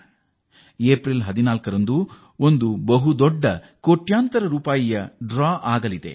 14ನೇ April ಅಂದು ಕೋಟ್ಯಂತರ ರೂಪಾಯಿಗಳ ಬಹುಮಾನದ ಡ್ರಾ ಇದೆ